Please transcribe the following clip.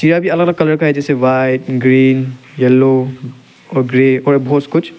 ये अभी अलग अलग कलर का है जैसे व्हाइट ग्रीन येलो और ग्रे और बहोत कुछ --